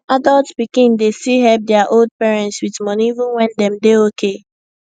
adult pikin dey still help dia old parents with money even when dem dey okay